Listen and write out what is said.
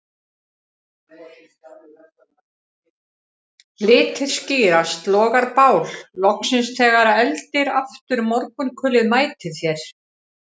Litir skýrast, logar bál loksins þegar eldir aftur morgunkulið mætir þér